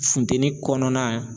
Funtɛnin kɔnɔna